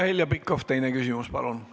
Heljo Pikhof, teine küsimus, palun!